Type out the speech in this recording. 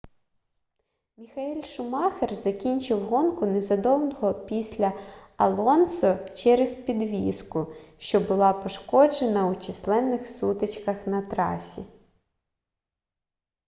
міхаель шумахер закінчив гонку незадовго після алонсо через підвіску що була пошкоджена у численних сутичках на трасі